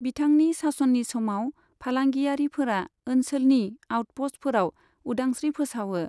बिथांनि सास'ननि समाव, फालांगियारिफोरा ओनसोलनि आउटप'ष्टफोराव उदांस्रि फोसावो।